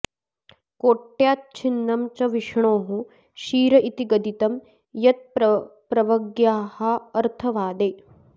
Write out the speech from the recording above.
कोट्या च्छिन्नं च विष्णोः शिर इति गदितं यत्प्रवर्ग्यार्थवादे